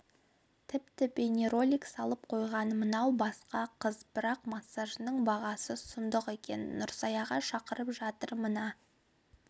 тіпті бейнеролик салып қойған мынау басқа қыз бірақ массажының бағасы сұмдық екен нұрсаяға шақырып жатыр мына